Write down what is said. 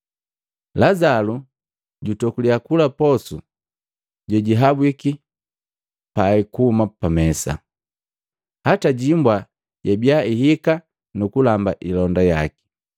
Lazalo jatokulya kula posu jejihabwiki pai kuhuma pamesa. Hata hibwa yabiya ihika nuku lamba hilonda yaki.